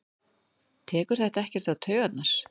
Tekur þetta ekkert á taugarnar?